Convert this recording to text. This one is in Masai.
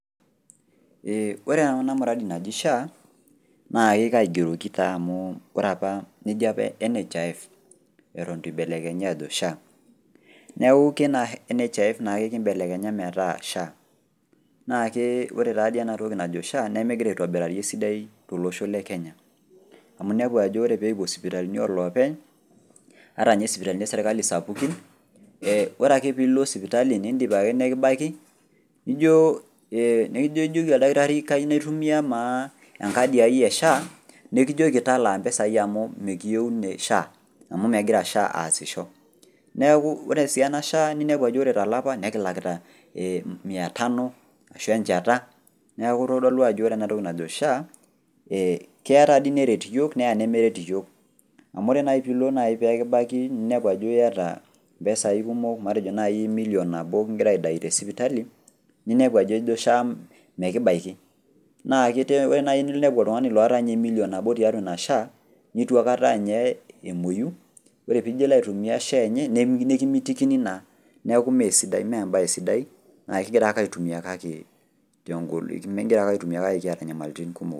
Eeh ore ena muradi naji Sha naake kaigeroki taa amu ore apa neji apa  NHIF eton eitu eibelekenyi ajo Sha. Neaku keina NHIF nake kimbelekenya metaa SHA nakee ore taadii ena toki najo Sha nemegira aitobirari esidai tolosho le kenya amu inepu ajo ore peekipuo sipitalini oloopeny ata ninye sipitalini e  serkali sapukin eeh ore ake piilo sipitali nindip ake nijoo eeh nijoki  oldakitari kayou naitumia maa enkadi ai e Sha nekijoki talaa mpesai amu mekiyou ne Sha amu megira sha aasisho. Neaku ore sii ena  Sha ninepu ajo ore tolapa nekilakita mia tanu ashu encheta neku eitodolu ajo orenatoki najo Sha ee keatadii neret iyiok neanemeret iyiok amu ore nai piilo peekibaki ninepu ajo iata mpesai kumok matejo nai milion nabo kigira aidai te  sipitali ninepu ajo ejo SHA mekibaiki naake ore nai piinepu oltung'ani loata ninye  emilion nabo tatua ina SHA neituaikata ninye emuoyu ore pijo ilo aitumia  Sha enye nekimitikini naa neaku meesidai meembae sidai naa kigirake  aitumia kake tengolikino kigira ake aitumia kake kiata nyamalitin kumok.